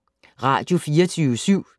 Radio24syv